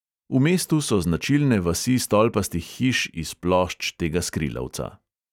V mestu so značilne vasi stolpastih hiš iz plošč temnega skrilavca.